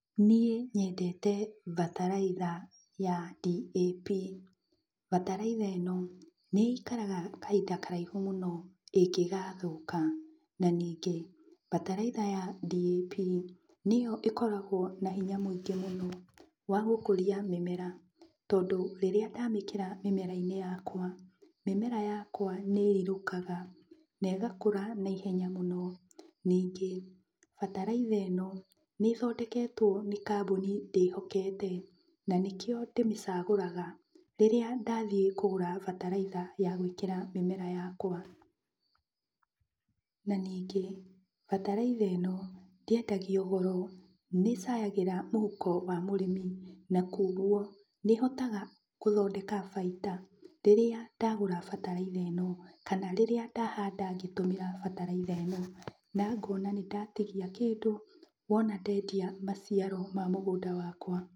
Niĩ nyendete bataraitha ya DAP. Bataraitha ĩno nĩikaraga kahinda karaihu mũno ingĩgathũka. Na ningĩ bataraitha ya DAP nĩyo ĩkoragwo na hinya mũngĩ mũno wa gũkũria mĩmera. Tondũ rĩrĩa ndamĩkĩra mĩmera-inĩ yakwa, mĩmera yakwa nĩ ĩrirũkaga na ĩgakũra naihenya mũno. Ningĩ bataraitha ĩno nĩĩthondeketwo nĩ kambũni ndĩhokete na nĩkĩo ndĩmĩcagũraga rĩrĩa ndathiĩ kũgũra bataraitha ya gwĩkĩra mĩmera yakwa. Na ningĩ bataraitha ĩno ndĩendagio goro nĩĩcayagĩra mũhuko wa mũrĩmi, na kuoguo nĩhotaga gũthondeka baita rĩrĩa ndagũra bataraitha ĩno, kana rĩrĩa ndahanda na bataraitha ĩno. Na ngona nĩndatigia kũndũ rĩrĩa wona ndendia maciaro ma mũgũnda wakwa.